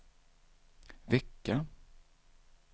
vecka